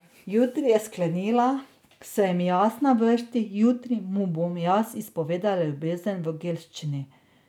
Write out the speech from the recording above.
Jutri, je sklenila, sem jaz na vrsti, jutri mu bom jaz izpovedala ljubezen v gelščini.